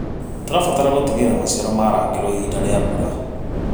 Tũrabatara gũtigĩrĩra maciaro marangĩrwo ihinda rĩa mbura.